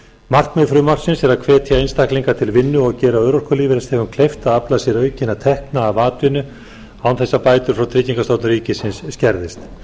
markmið frumvarpsins er að hvetja einstaklinga til vinnu og gera örorkulífeyrisþegum kleift að afla sér aukinna tekna af atvinnu án þess að bætur frá tryggingastofnun ríkisins skerðist